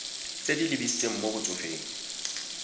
tse di lebisitseng mo batsofeng